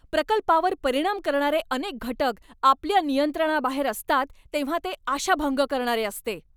प्रकल्पावर परिणाम करणारे अनेक घटक आपल्या नियंत्रणाबाहेर असतात तेव्हा ते आशाभंग करणारे असते.